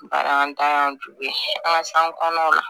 Baaratanya jogo ye an ka san kɔnɔnaw la